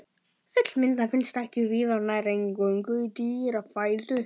Fullmyndað finnst það ekki víða og nær eingöngu í dýrafæðu.